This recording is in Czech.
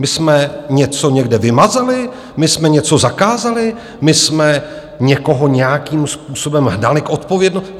My jsme něco někde vymazali, my jsme něco zakázali, my jsme někoho nějakým způsobem hnali k odpovědnosti?